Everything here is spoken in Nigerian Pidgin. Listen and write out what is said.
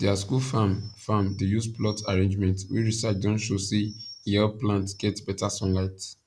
their school farm farm dey use plot arrangement wey research don show say e help plants get better sunlight